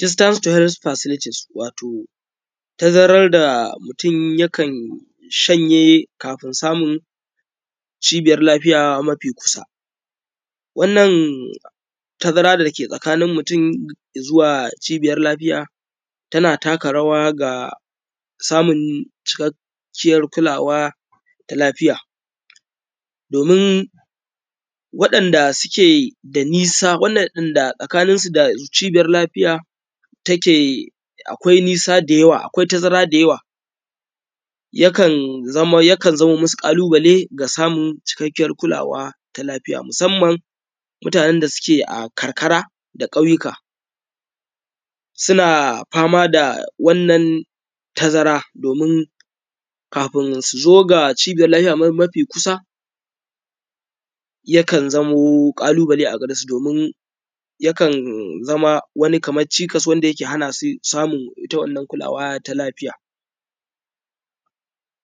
.Distance tolerance facilities, wato tazarar da mutum yakan shanye kafin samun cibiyar lafiya mafi kusa wannan tazara da ke tsakanin mutum da zuwa cibiyar lafiya tana taka rawa ga samun cikakkiyar kula da lafiya domin waɗanda suke da nisa tsakaninsu da cibiyar lafiya take akwai nisa da yawa akwai tazara da yawa yakan zama musu ƙalubale da samun cikakkiyar kulawa ta lafiya. Musamman mutanen da suke a karkara da ƙauyuka suna fama da wannan tazara domin kafin su zo ga Cibiyar lafiya mafi kusa yana zamo ƙalubale a gare su yakan zama kamar qani cikas ne da yake hana su samun ita wannan kulawa ta lafiya.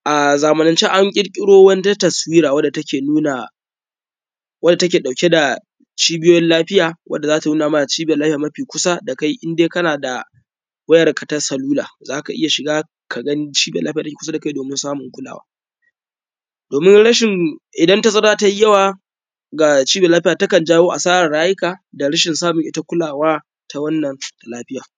A zamanance an ƙirƙiro wata taswira wanda take nuna dauke da cibiyoyin lafiya wacce za ta nuna cibiyar lafiya mafi kusa da kai indai kana da wayarka ta salula za ka iya shiga ka gani cibiyar lafiya domin samun kulawa. Domin idan tazara tai yawa yakan jawo asarar rayuka da rashin samun ita kulawa ta wannan lafiyar